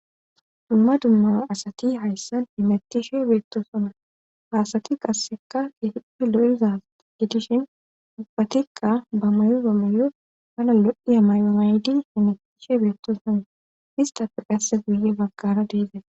dumma dumma asati hayssan himattishe beettosona haasati qasseka gepe lo7iza gedishin ubbatikqa bamayo bamayo hana lo7i a mayomaydi henetishe beettosone istafe qasse guye baggara deeza